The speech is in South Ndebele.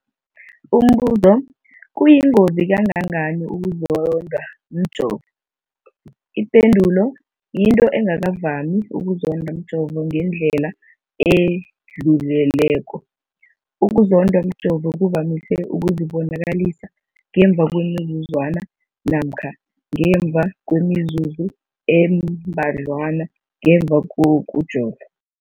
Umbuzo, kuyingozi kangangani ukuzondwa mjovo? Ipendulo, yinto engakavami ukuzondwa mjovo ngendlela edluleleko. Ukuzondwa mjovo kuvamise ukuzibonakalisa ngemva kwemizuzwana namkha ngemva kwemizuzu embadlwana ngemva kokujova.